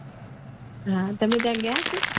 હમમ તમે ત્યાં ગયા હશો